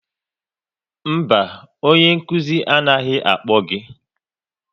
Mba, onye anaghị akpọ gị